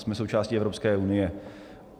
Jsme součástí Evropské unie.